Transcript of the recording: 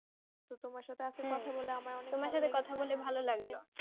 তো তোমার সাথে